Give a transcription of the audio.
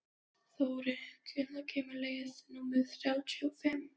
Þóri, hvenær kemur leið númer þrjátíu og fimm?